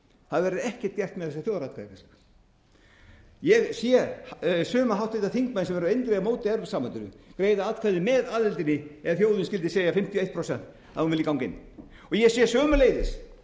það verður ekkert gert með þessa þjóðaratkvæðagreiðslu ég sé suma háttvirtir þingmenn sem eru eindregið á móti evrópusambandinu greiða atkvæði með aðildinni ef þjóðin skyldi segja fimmtíu og eitt prósent að hún vilji ganga inn ég sé sömuleiðis